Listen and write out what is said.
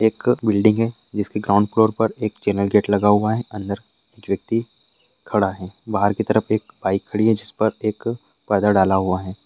एक बिल्डिंग है जिसके ग्राउंड फ्लोर पर एक चैनल गेट लगा हुआ है अंदर एक व्यक्ति खड़ा है बाहर की तरफ एक बाइक खड़ी है जिस पर एक पर्दा डाला हुआ है।